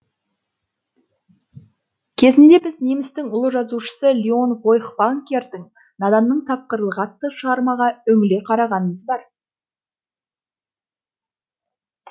кезінде біз немістің ұлы жазушысы лион фойхтвангердің наданның тапқырлығы атты шығармаға үңіле қарағанымыз бар